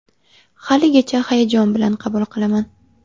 Haligacha hayajon bilan qabul qilaman.